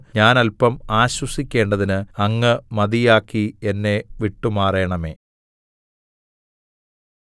ഞാൻ അല്പം ആശ്വസിക്കേണ്ടതിന് അങ്ങ് മതിയാക്കി എന്നെ വിട്ടുമാറണമേ